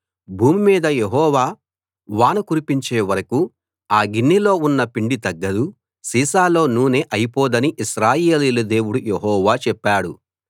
భూమి మీద యెహోవా వాన కురిపించే వరకూ ఆ గిన్నెలో ఉన్న పిండి తగ్గదు సీసాలో నూనె అయిపోదని ఇశ్రాయేలీయుల దేవుడు యెహోవా చెప్పాడు